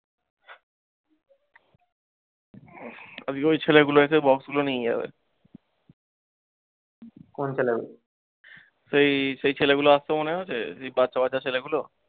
আজকে ঐ ছেলেগুল এসে box গুলো নিয়ে যাবে। এই সেই ছেলেগুল আসতো মনে আছে সেই বাছা বাচ্চা ছেলেগুলো।